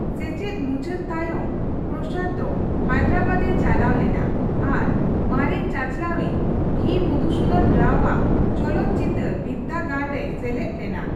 ᱥᱮᱪᱮᱫ ᱢᱩᱪᱟᱹᱫ ᱛᱟᱭᱚᱢ, ᱯᱨᱚᱥᱟᱫᱽ ᱫᱚ ᱦᱟᱭᱫᱨᱟᱵᱟᱫᱽᱼᱮ ᱪᱟᱞᱟᱣ ᱞᱮᱱᱟ ᱟᱨ ᱢᱟᱨᱮᱱ ᱪᱟᱼᱪᱟᱞᱟᱣᱤᱡ ᱵᱷᱤᱹᱢᱚᱫᱷᱩᱥᱩᱫᱷᱚᱱ ᱨᱟᱣᱼᱟᱜ ᱪᱚᱞᱚᱛ ᱪᱤᱛᱟᱹᱨ ᱵᱤᱫᱽᱫᱟᱹᱜᱟᱲ ᱨᱮᱭ ᱥᱮᱞᱮᱫ ᱞᱮᱱᱟ ᱾